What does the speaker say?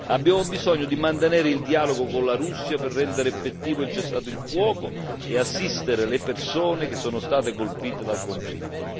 Abbiamo bisogno di mantenere il dialogo con la Russia per rendere effettivo il cessate il fuoco e assistere le persone che sono state colpite dal conflitto.